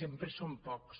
sempre són pocs